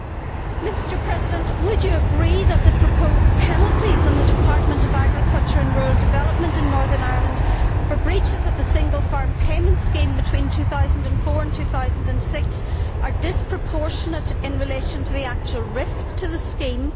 Mr Barroso, would you agree that the proposed penalties on the Department of Agriculture and Rural Development in Northern Ireland for breaches of the SFP scheme between 2004 and 2006 are disproportionate in relation to the actual risk to the scheme?